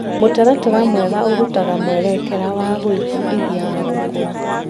Mũtaratara mwega ũrutaga mwerekera wa gwĩbundithia na gũkũra.